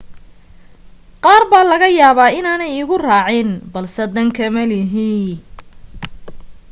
qaar baa laga yaabaa inaanay igu raacin balse dan kama lihi